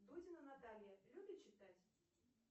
дудина наталья любит читать